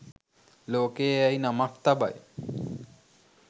ලෝකය යැයි නමක් තබයි